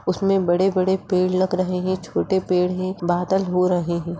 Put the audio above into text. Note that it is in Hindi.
उसमे बड़े-बड़े पेड़ लग रहे है छोटे पेड़ है बादल हो रहे है।